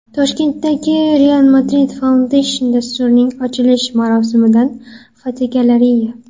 Toshkentdagi Real Madrid Foundation dasturining ochilish marosimidan fotogalereya.